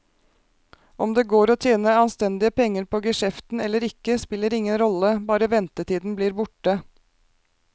Om det går å tjene anstendige penger på geskjeften eller ikke, spiller ingen rolle, bare ventetiden blir borte.